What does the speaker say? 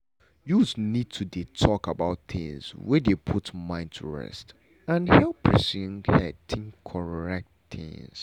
youths need to dey talk about things wey dey put mind to rest and help person head think correct things.